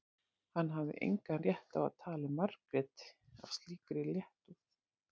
Hann hafði engan rétt á að tala um Margréti af slíkri léttúð.